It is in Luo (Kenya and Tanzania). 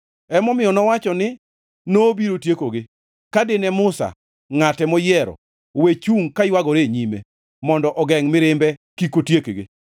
Emomiyo nowacho ni nobiro tiekogi ka dine Musa, ngʼate moyiero, we chungʼ kaywagore e nyime mondo ogengʼ mirimbe kik otiekgi.